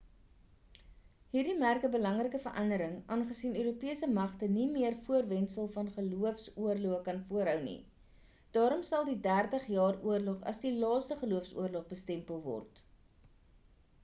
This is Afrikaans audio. hierdie merk 'n belangrike verandering aangesien europese magte nie meer die voorwendsel van gelooofs-oorloë kan voorhou nie daarom sal die dertig jaar oorlog as die laaste geloofs-oorlog bestempel word